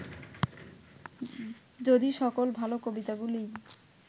যদি সকল ভাল কবিতাগুলিই